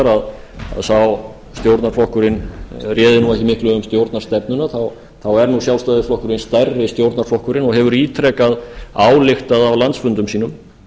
sá stjórnarflokkurinn réði ekki miklu um stjórnarstefnuna þá er sjálfstæðisflokkurinn stærri stjórnarflokkurinn og hefur ítrekað ályktað á landsfundum sínum